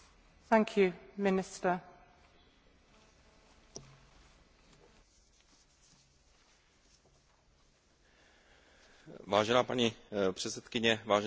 Vážená paní předsedkyně, vážení páni poslanci, vážené paní poslankyně, Evropský soudní dvůr rozhodl, že přímá aplikace komunitárního práva,